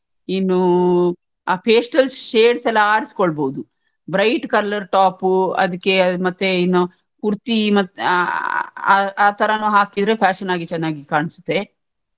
ಇನ್ನೂ ಅ pastel shades ಎಲ್ಲ ಆರಿಸ್ಕೊಲ್ಬೋದು bright colour topಪು ಅದಿಕ್ಕೆ ಮತ್ತೆ ಇನ್ನು kurti ಮತ್ತೆ ಅ ಆತರನು ಹಾಕಿದ್ರೆ fashion ಆಗಿ ಚನ್ನಾಗಿ ಕಾಣ್ಸುತ್ತೆ.